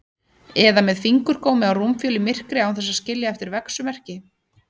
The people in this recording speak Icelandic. Eða með fingurgómi á rúmfjöl í myrkri án þess að skilja eftir verksummerki.